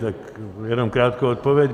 Tak jenom krátkou odpověď.